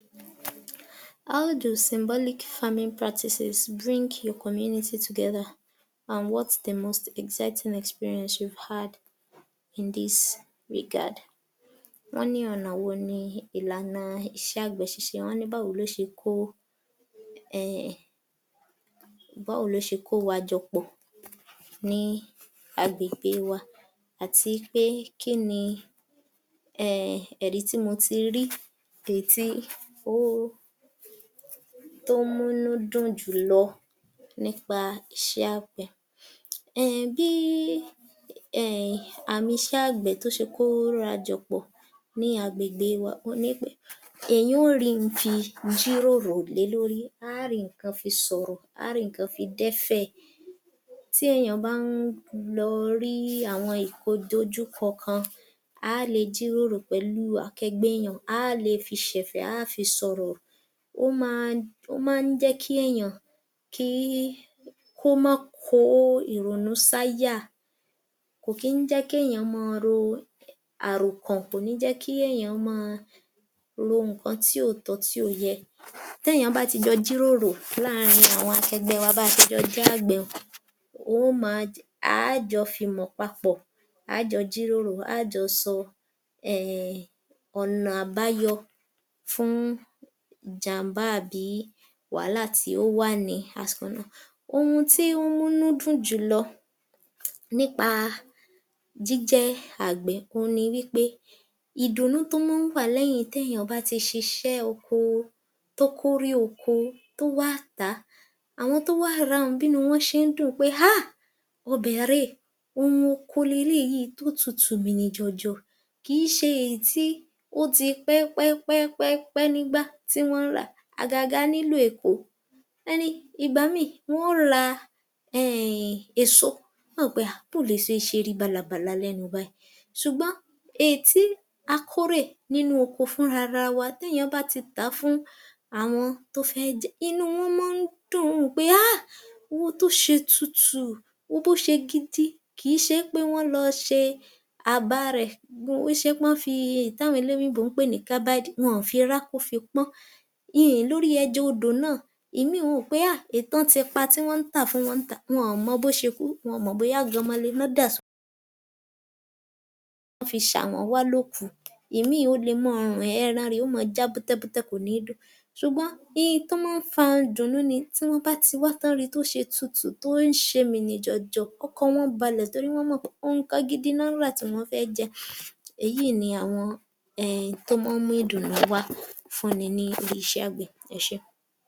yor_f_903_AG00604 How do symbolic farming practices bring your community together and what’s the most exciting experience you’ve had in this regard? Wọn ní ọ̀nà ìlànà wọn ni iṣẹ́ àgbẹ̀ tí ṣe, wọn ní báwo ló ṣe kó wá jọ pò ni àgbègbè wa, àti pé kí ni ẹri ti mo ti rí, èyí tí ó múnú dùn jùlọ nípa ìṣe àgbè? Bí àmì ìṣe àgbè ṣe kóra jọ pọ̀ ni àgbègbè wa òun ni wí pé èèyàn yóò rí ohun fi jíròrò lé lórí, a ó rí nnkan fi sọ̀rọ̀, a á rí nìkan fi dẹ́fẹ̀. Tí èèyàn bá ń lọ rí àwọn ìdojúkọ kan, a á le jíròrò pẹ̀lú akẹgbẹ́ èèyàn, àá lè fi ṣẹ̀fẹ̀, àá lè fi sọ̀rọ̀ ,ó máa jẹ ki èèyàn kí máa kọ irọrun saya, kò kí je ki èèyàn ò máa rò àrọkan, kò kii jẹ́ kii èèyàn máa rò ǹkan tí kò tọ́, tí ko yẹ, tí èèyàn bá ti jọ jíròrò láàrín àwọn akẹgbẹ́ wá ti a jọ jẹ́ àgbè, ó máa….. A jọ fi mọ̀ papọ̀, a jọ ó jíròrò, a á jọ sọ ọ̀nà àbáyọ fún jàmbá àbí wàhálà tí ó wà ní àsìkò kan náà. Ohun tó múnú dùn jùlọ nípa jíjẹ́ àgbè ni pé ìdùnnú tó máa ń wà lẹ́yìn tí èèyàn bá ti ṣíṣe oko tó kórè ọkọ, tó wá tá à, àwọn tó wà rà á, bínú wọn ṣe ń dùn pé ahh! Ọbẹ̀ rẹ ẹ,,ohun ọkọ rẹ é tó tutù mìnìjọ̀jọ̀, kii ṣé èyí tó ti pé pé pé pé pé lórí igbá tí wá rà agaga ní ìlú Èkó. Ìgbà míì, wọn ò ra èso, n ó wò ó pé ahhh‼ bo ó lẹ ṣe ṣé rí bálabala lénu ṣùgbọ́n èyí tí a kórè nínú oko fún ara wa, téèyàn bá ti tá fún àwọn tí ó fé je, inú wọn máa ń dùn pé ahh! Wo bó ṣe tutù, bó ṣe gidi, kii ṣe pé wọn lọ ṣe àbá rẹ, kii ṣe pé wó fi eyín tí àwọn olòyìnbó ń pè ní kabadi, wọn ò fi rá kó pò ó. Lórí ẹja odò náà, ìmí ó wọ pé……. Ẹsẹ̀